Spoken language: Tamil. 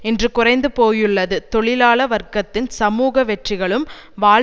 இன்று குறைந்து போய்யுள்ளது தொழிலாள வர்க்கத்தின் சமூக வெற்றிகளும் வாழ்